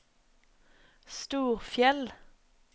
Storfjell